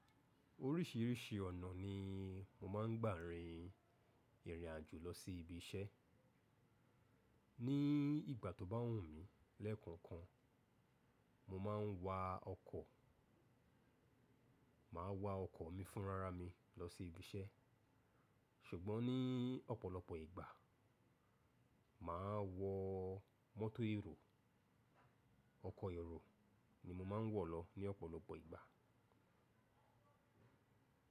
Oríṣìíríṣìí ọ̀nà ni mo máa ń gbà rin ìrìn àjò lọ sí ibi iṣẹ́. Ní ìgbà tó bá wù mí lẹ́ẹ̀kokan, mo máa ń wa ọkọ̀, máa wa ọkọ̀ mi fúnrárá mi lọ sí ibi iṣẹ́. Ṣùgbọ́n ní ọ̀pọ̀lọpọ̀ ìgbà, mà á wọ mọ́tò érò. Ọkọ̀ èrò ni mo máa ń wọ̀ lọ ní ọ̀pọ̀lọpọ̀ ìgbà.